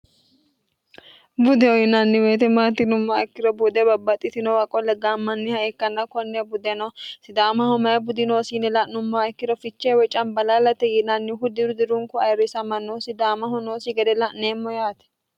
budeho yinanni woyte maati yinummoha ikkiro buude babbaxitinowa qolle gaammanniha ikkanna konne budeno sidaamaho mayi budi noosi yine la'nummoha ikkiro fichee woy cambalaalate yiinannihu diru dirunku ayirrisamanno sidaamaho noosi gede la'neemmo yaate